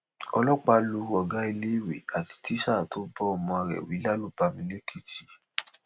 ọlọpàá lu ọgá iléèwé àti tíṣà tó bá ọmọ rẹ wí lálùbami lẹkìtì